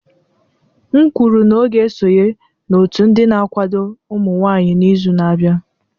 M kwuru na ọ ga-esonye n'otu ndị na-akwado ụmụ nwanyị n'izu na-abịa